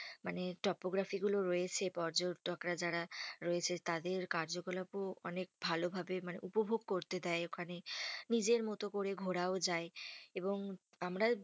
মানে topography গুলো রয়েছে, পর্যটকরা যারা রয়েছে তাদের কার্য কলাপও অনেক ভালো ভাবে মানে উপভোগ করতে দেয় ওখানে। নিজের মতো করে ঘোরাও যায়। এবং আমরা